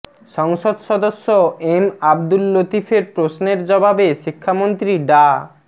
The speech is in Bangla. সংসদ সদস্য এম আবদুল লতিফের প্রশ্নের জবাবে শিক্ষামন্ত্রী ডা